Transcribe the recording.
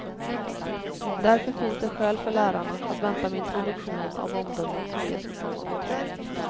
Därför finns det skäl för lärarna att vänta med introduktionen av omdömen som ges i form av betyg.